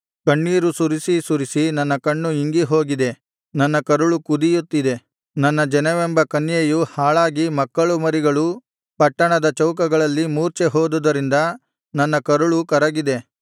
ಕಣ್ಣೀರು ಸುರಿಸಿ ಸುರಿಸಿ ನನ್ನ ಕಣ್ಣು ಇಂಗಿ ಹೋಗಿದೆ ನನ್ನ ಕರುಳು ಕುದಿಯುತ್ತದೆ ನನ್ನ ಜನವೆಂಬ ಕನ್ಯೆಯು ಹಾಳಾಗಿ ಮಕ್ಕಳುಮರಿಗಳು ಪಟ್ಟಣದ ಚೌಕಗಳಲ್ಲಿ ಮೂರ್ಛೆ ಹೋದುದರಿಂದ ನನ್ನ ಕರುಳು ಕರಗಿದೆ